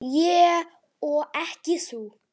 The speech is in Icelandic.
Ég og ekki þú.